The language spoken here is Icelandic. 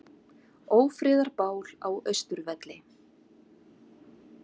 Ófriðarbál á Austurvelli